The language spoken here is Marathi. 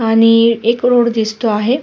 आणि एक रोड दिसतो आहे.